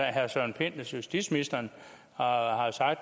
at herre søren pind justitsministeren og